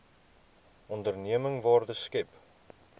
onderneming waarde skep